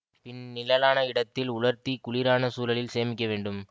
பின் நிழலான இடத்தில் உலர்த்தி குளிரான சூழலில் சேமிக்க வேண்டும்